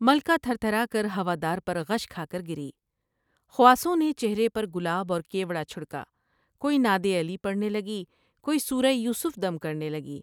ملکہ تھر تھرا کر ہوا دار پر غش کھا کر گری۔ خواصوں نے چہرے پر گلاب اور کیوڑ جھڑ کا۔ کوئی نادعلی پڑھنے لگی ۔کوئی سورۂ یوسف دم کرنے لگی ۔